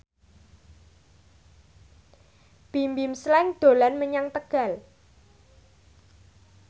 Bimbim Slank dolan menyang Tegal